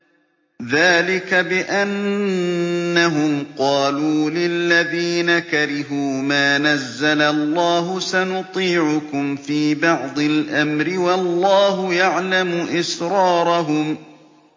ذَٰلِكَ بِأَنَّهُمْ قَالُوا لِلَّذِينَ كَرِهُوا مَا نَزَّلَ اللَّهُ سَنُطِيعُكُمْ فِي بَعْضِ الْأَمْرِ ۖ وَاللَّهُ يَعْلَمُ إِسْرَارَهُمْ